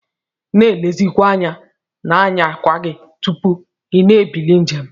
Na elezikwa anya na nyawa gi tupu ina ebili njem.